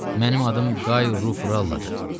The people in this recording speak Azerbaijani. Mənim adım Qay Ruf Rulladır.